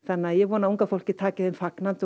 ég vona að unga fólkið taki þeim fagnandi